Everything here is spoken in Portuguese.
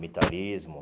Militarismo.